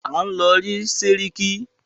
À ń lọ rí sẹ́ríkí.